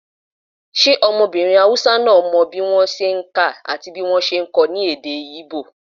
ṣe ọmọbirin Hausa náà mọ bí wọ́n ṣe n kà àti bí wọ́n ṣe n kọ èdè íbò?